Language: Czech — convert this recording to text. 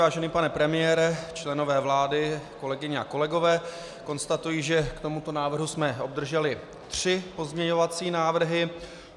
Vážený pane premiére, členové vlády, kolegyně a kolegové, konstatuji, že k tomuto návrhu jsme obdrželi tři pozměňovací návrhy.